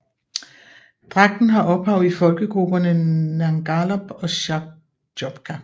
Dragten har ophav i folkegrupperne Ngalop og Sharchopka